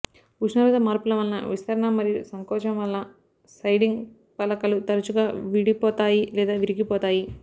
ఉష్ణోగ్రత మార్పుల వలన విస్తరణ మరియు సంకోచం వలన సైడింగ్ పలకలు తరచుగా విడిపోతాయి లేదా విరిగిపోతాయి